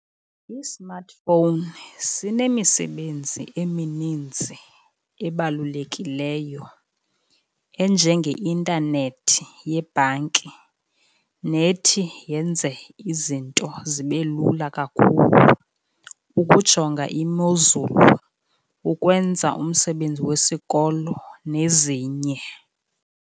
I-smart phone sinemisebenzi emininzi ebalulekileyo, enjengeintanethi yebhanki nethi yenze izinto zibe lula kakhulu, ukujonga imozulu, ukwenza umsebenzi wesikolo nezinye.